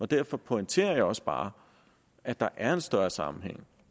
derfor pointerer jeg også bare at der er en større sammenhæng